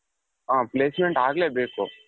ಹಾ placement ಅಗ್ಲೇ ಬೇಕು.